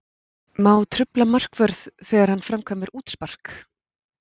Má trufla markvörð þegar hann framkvæmir útspark?